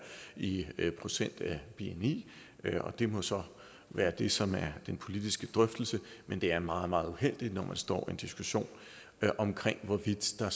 i procent af bni det må så være det som er den politiske drøftelse men det er meget meget uheldigt når man står i en diskussion om hvorvidt der